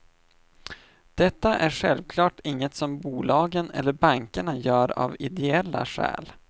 Detta är självklart inget som bolagen eller bankerna gör av ideella skäl.